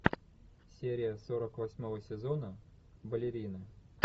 серия сорок восьмого сезона балерина